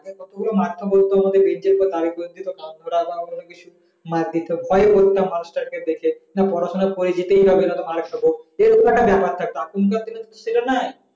তো মাস্টার বলতো বেন চের উপর কান ধরা বা অন্য কিছু মার দিতো ভয়ে পড়তাম মাস্টার কে দেখে যে পড়া সোনা করে যেতেই হবে না তো মার রখাবো এই রকম একটা ব্যাপার থাকতো এখন কার দিনে সেই রকম তো নাই